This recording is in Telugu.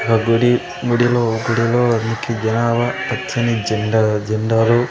ఒక గుడి గుడి గుడిలో నికి జనాభ పచ్చని జెండా జెండాలు.